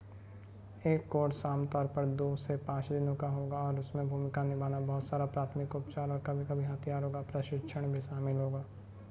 एक कोर्स आम तौर पर 2 से 5 दिनों का होगा और उसमें भूमिका निभाना बहुत सारा प्राथमिक उपचार और कभी-कभी हथियारों का प्रशिक्षण भी शामिल होगा